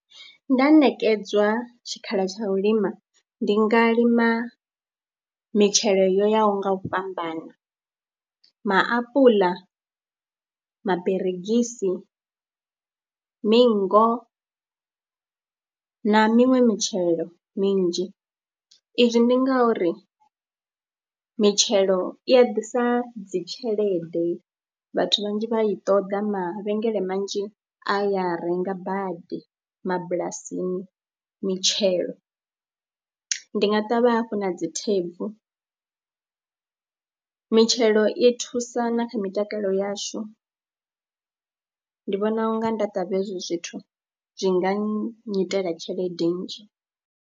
Nda ṋekedzwa tshikhala tsha u lima, ndi nga lima mitshelo yo yaho nga u fhambana maapuḽa, maberegisi, mingo na miṅwe mitshelo minzhi. Izwi ndi ngauri mitshelo i a ḓisa dzi tshelede, vhathu vhanzhi vha i ṱoḓa, mavhengele manzhi a ya renga badi mabulasini mitshelo. Ndi nga ṱavha hafhu na dzi thebvu mitshelo i thusa na kha mitakalo yashu ndi vhona u nga nda ṱavha hezwi zwithu zwi nga nnyitela tshelede nnzhi.